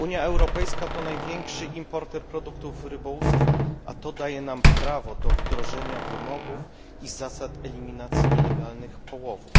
UE to największy importer produktów rybołówstwa, a to daje nam prawo do wdrożenia wymogów i zasad eliminacji nielegalnych połowów.